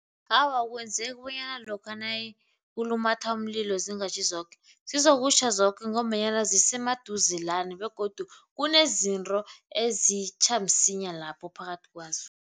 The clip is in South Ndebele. Awa, akwenzeki bonyana lokha nakulumatha umlilo zingatjhi zoke. Zizokutjha zoke ngombanyana zisemaduzelana begodu kunezinto ezitjha msinya lapho phakathi kwazo.